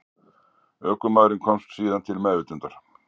Ökumaðurinn komst síðan til meðvitundar